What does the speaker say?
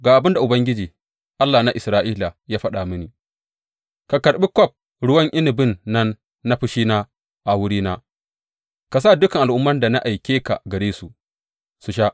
Ga abin da Ubangiji, Allah na Isra’ila, ya faɗa mini, Ka karɓi kwaf ruwan inabin nan na fushina a wurina, ka sa dukan al’umman da na aike ka gare su, su sha.